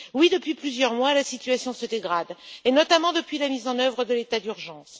Depuis plusieurs mois, la situation se dégrade, en particulier depuis la mise en œuvre de l'état d'urgence.